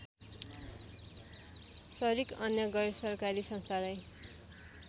सरिक अन्य गैरसरकारी संस्थालाई